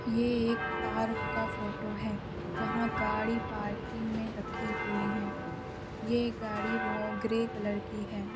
ये एक पार्क का फोटो है जहां गाड़ी पार्किंग मे रखी हुई हैं ये गाड़ी वो-- ग्रे कलर की है।